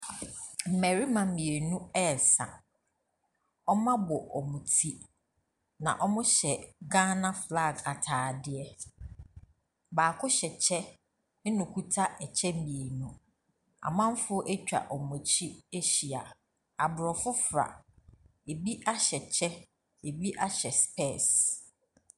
Mmɛrima mienu ɛɛsa. Ɔmo abɔ ɔmo ti, na ɔmo hyɛ Gaana flag ataadeɛ. Baako hyɛ kyɛ ena ɔketa ɛkyɛ mienu. Amanfoɔ atwa ɔmo akyi ahyia. Abrofo fra abi ahyɛ kyɛ, abi ahyɛ spɛɛs.